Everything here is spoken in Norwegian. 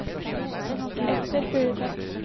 Esther Furuseth